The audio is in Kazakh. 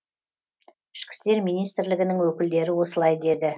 ішкі істер министрлігінің өкілдері осылай деді